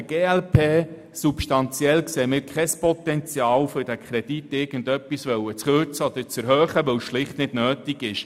Wir sehen kein substanzielles Potenzial für eine Kürzung oder eine Erhöhung des Kredits, weil es schlicht nicht nötig ist.